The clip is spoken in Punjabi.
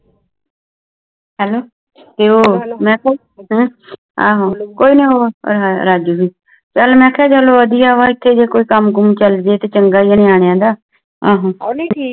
ਮੇਂ ਕਹਾ ਚਲ ਵਧੀਆ ਵਾ ਇਥੇ ਕੋਈ ਕੰਮ ਕੁਮ ਚਲ ਜੇ ਨਿਆਣਿਆਂ ਦਾ